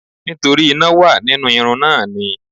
Nítorí iná wà nínú irun náà ni.